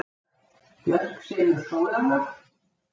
Björk semur sólarlag